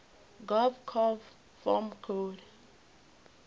gov conv form coid